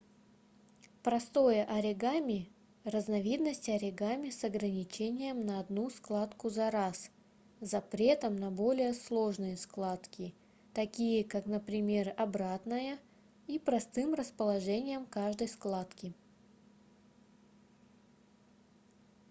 простое оригами разновидность оригами с ограничением на одну складку за раз запретом на более сложные складки такие как например обратная и простым расположением каждой складки